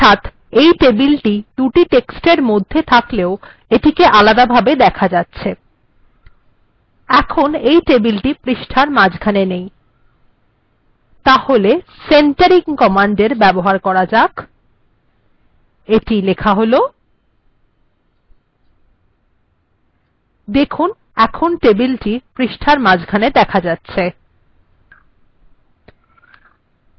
অর্থাৎ এই টেবিলটি দুটি টেক্সট্এর মধ্যে থাকলেও এটিকে আলাদাভাবে দেখা যাচ্ছে এখন এই টেবিলটি পৃষ্ঠার মাঝখানে নেই তাহলে centering কমান্ডএর ব্যবহার করা যাক এখন টেবিলটি ডকুমেন্ট্এর মাঝখানে দেখা যাচ্ছে